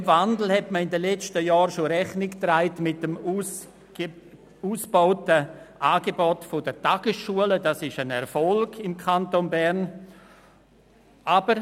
Diesem Wandel hat man in den letzten Jahren mit dem ausgebauten Angebot der Tagesschule – dies ist ein Erfolg im Kanton Bern – Rechnung getragen.